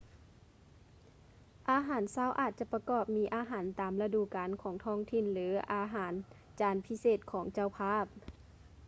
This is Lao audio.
ອາຫານເຊົ້າອາດຈະປະກອບມີອາຫານຕາມລະດູການຂອງທ້ອງຖິ່ນ ຫຼື ອາຫານຈານພິເສດຂອງເຈົ້າພາບ